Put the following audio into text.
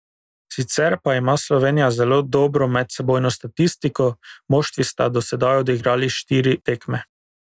Sicer pa ima Slovenija zelo dobro medsebojno statistiko, moštvi sta dosedaj odigrali štiri tekme.